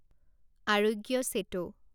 আৰোগ্য চেটো